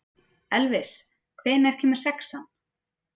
Elvis, hvenær kemur sexan?